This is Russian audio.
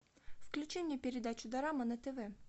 включи мне передачу дорама на тв